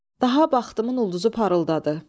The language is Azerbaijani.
Daha baxdımın ulduzu parıldadı.